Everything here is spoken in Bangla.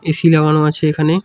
এসি লাগানো আছে এখানে।